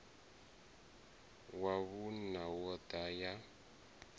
wa vhuṋa yo ḓa ya